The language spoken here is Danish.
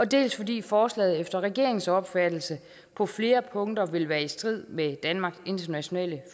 dels fordi forslaget efter regeringens opfattelse på flere punkter vil være i strid med danmarks internationale